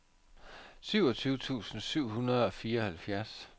syvogtyve tusind syv hundrede og fireoghalvfjerds